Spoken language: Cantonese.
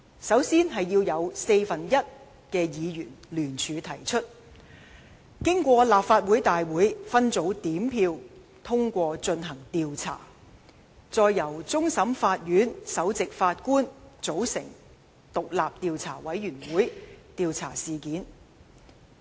首先要有四分之一議員聯署提出議案，經立法會大會分組點票通過進行調查；再由終審法院首席法官組成獨立調查委員會調查事件。